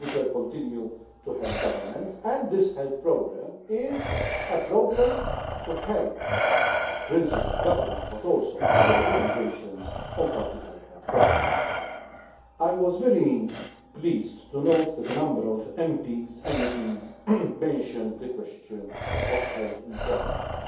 we shall continue to help governments, and this health programme is a programme to help, principally, governments but also other organisations on particular health projects. I was very pleased to note that a number of MEPs mentioned the question of health inequalities.